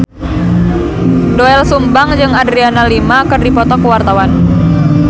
Doel Sumbang jeung Adriana Lima keur dipoto ku wartawan